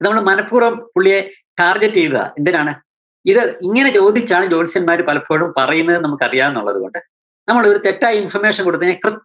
ഇത് നമ്മള് മനപ്പൂര്‍വ്വം പുള്ളിയെ target ചെയ്തതാ. എന്തിനാണ്? ഇത് ഇങ്ങനെ ചോദിച്ചാണ് ജോത്സ്യന്മാര് പലപ്പോഴും പറയുന്നത്ന്ന് നമുക്കറിയാന്നുള്ളതുകൊണ്ട്, നമ്മള് തെറ്റായി information കൊടുത്തേനേ കൃ~